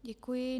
Děkuji.